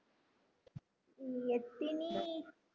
உம் எத்தினி